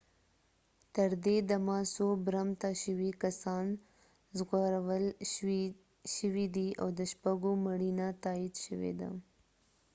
تر دې دمه څو برمته شوي کسان ژغورل شوي دي او د شپږو مړینه تأیید شوي ده